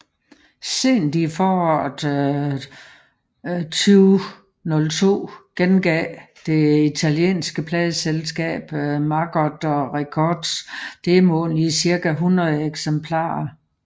Sent i foråret 2002 genudgav det italienske pladeselskab Maggot Records demoen i cirka 100 eksemplarer